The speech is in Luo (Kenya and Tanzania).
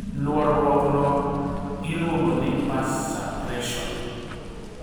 Luoruok no iluongo ni burst suppression